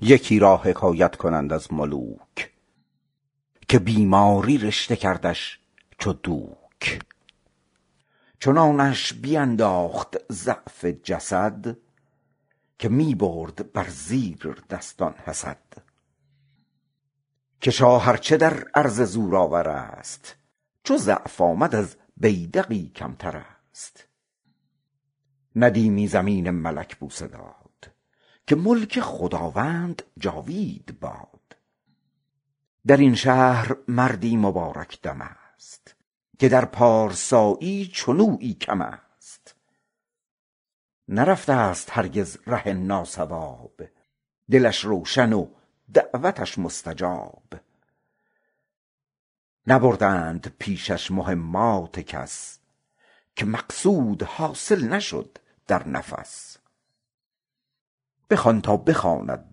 یکی را حکایت کنند از ملوک که بیماری رشته کردش چو دوک چنانش در انداخت ضعف جسد که می برد بر زیردستان حسد که شاه ار چه بر عرصه نام آور است چو ضعف آمد از بیدقی کمتر است ندیمی زمین ملک بوسه داد که ملک خداوند جاوید باد در این شهر مردی مبارک دم است که در پارسایی چنویی کم است نرفته ست هرگز ره ناصواب دلی روشن و دعوتی مستجاب نبردند پیشش مهمات کس که مقصود حاصل نشد در نفس بخوان تا بخواند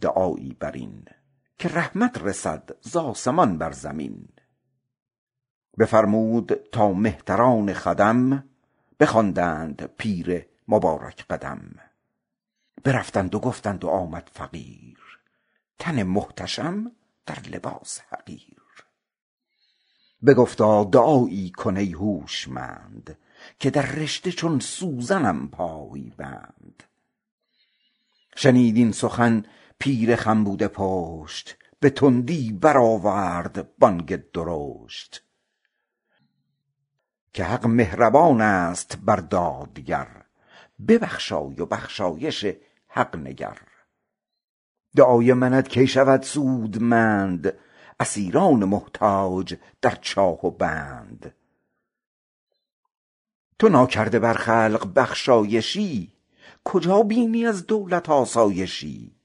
دعایی بر این که رحمت رسد ز آسمان برین بفرمود تا مهتران خدم بخواندند پیر مبارک قدم برفتند و گفتند و آمد فقیر تنی محتشم در لباسی حقیر بگفتا دعایی کن ای هوشمند که در رشته چون سوزنم پای بند شنید این سخن پیر خم بوده پشت به تندی برآورد بانگی درشت که حق مهربان است بر دادگر ببخشای و بخشایش حق نگر دعای منت کی شود سودمند اسیران محتاج در چاه و بند تو ناکرده بر خلق بخشایشی کجا بینی از دولت آسایشی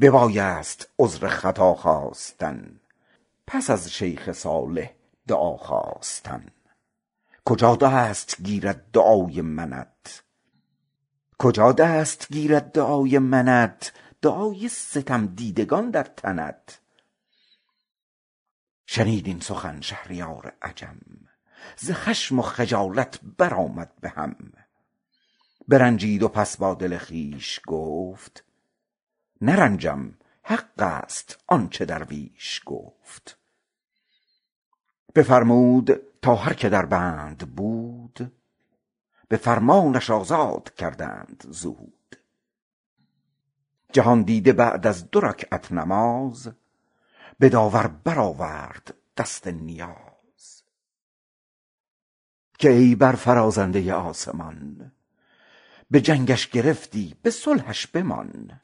ببایدت عذر خطا خواستن پس از شیخ صالح دعا خواستن کجا دست گیرد دعای ویت دعای ستمدیدگان در پیت شنید این سخن شهریار عجم ز خشم و خجالت بر آمد بهم برنجید و پس با دل خویش گفت چه رنجم حق است این که درویش گفت بفرمود تا هر که در بند بود به فرمانش آزاد کردند زود جهاندیده بعد از دو رکعت نماز به داور برآورد دست نیاز که ای برفرازنده آسمان به جنگش گرفتی به صلحش بمان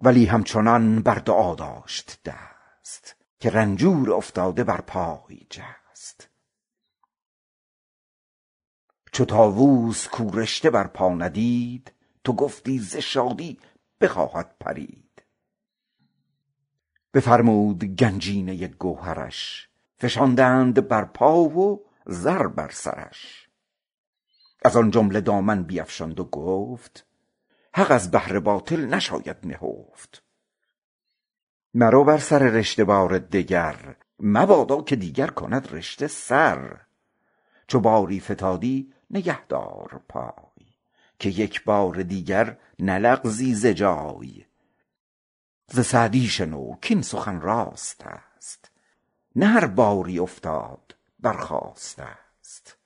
ولی همچنان بر دعا داشت دست که شه سر برآورد و بر پای جست تو گفتی ز شادی بخواهد پرید چو طاووس چون رشته در پا ندید بفرمود گنجینه گوهرش فشاندند در پای و زر بر سرش حق از بهر باطل نشاید نهفت از آن جمله دامن بیفشاند و گفت مرو با سر رشته بار دگر مبادا که دیگر کند رشته سر چو باری فتادی نگه دار پای که یک بار دیگر بلغزد ز جای ز سعدی شنو کاین سخن راست است نه هر باری افتاده برخاسته ست